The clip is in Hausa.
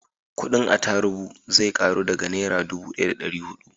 kudin atarubu zai karu daga nera dubu daya da dari hudu